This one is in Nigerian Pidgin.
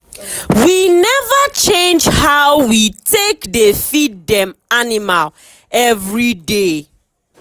we never change how we take dey feed dem animal every day.